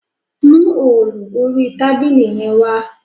Mú òòlù orí tábìlì yẹn wá